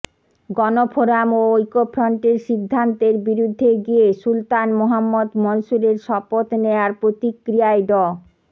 গণফোরাম ও ঐক্যফ্রন্টের সিদ্ধান্তের বিরুদ্ধে গিয়ে সুলতান মোহাম্মদ মনসুরের শপথ নেয়ার প্রতিক্রিয়ায় ড